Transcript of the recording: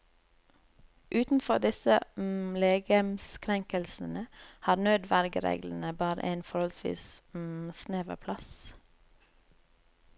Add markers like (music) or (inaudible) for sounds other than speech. Utenfor disse (hesitation) legemskrenkelsene har nødvergereglene bare en forholdsvis (hesitation) snever plass.